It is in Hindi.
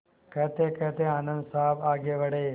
कहतेकहते आनन्द साहब आगे बढ़े